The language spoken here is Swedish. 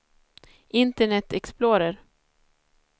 internet explorer